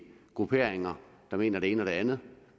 grupperinger der mener det ene og det andet